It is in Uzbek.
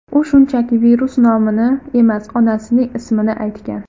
U shunchaki virus nomini emas, onasining ismini aytgan.